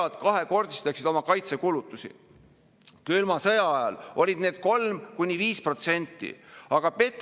Aga see kahjustab ka otsuste mehhanismi, mis on ju liberaalse demokraatia üks põhiline vundament, et igaühel on oma roll ja iga partei siin ei ehita omale relvastust ega riigikaitset, ei paku üle, ei külva paanikat.